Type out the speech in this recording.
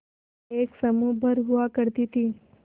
एक समूह भर हुआ करती थी